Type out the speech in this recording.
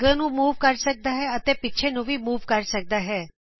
ਇਹ ਅੱਗੇ ਨੂੰ ਮੂਵ ਕਰ ਸਕਦਾ ਹੈ ਅਤੇ ਪਿੱਛੇ ਨੂੰ ਵੀ ਮੂਵ ਕਰ ਸਕਦਾ ਹੈ